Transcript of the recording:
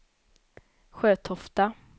Sjötofta